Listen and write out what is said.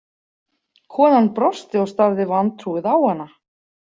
Konan brosti og starði vantrúuð á hana.